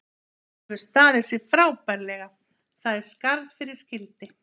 Hann hefur staðið sig frábærlega, það er skarð fyrir skildi.